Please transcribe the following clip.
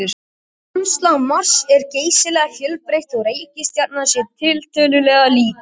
Landslag Mars er geysilega fjölbreytt þótt reikistjarnan sé tiltölulega lítil.